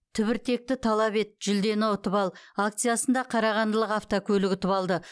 түбіртекті талап ет жүлдені ұтып ал акциясында қарағандылық автокөлік ұтып алды